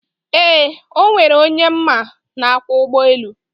eee, ọ nwere onye m ma na-akwọ ụgbọelu.